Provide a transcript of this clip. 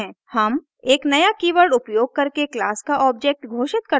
हम एक नया कीवर्ड उपयोग करके क्लास का ऑब्जेक्ट घोषित करते हैं